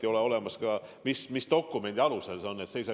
Ei ole olemas kokkulepet, mis dokumendi alusel see käima hakkab.